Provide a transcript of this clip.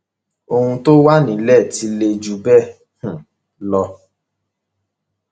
ohun tó wà nílẹ ti le jù bẹẹ um lọ